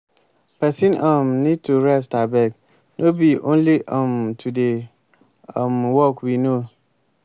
person um need to rest abeg no be only um to dey um work we know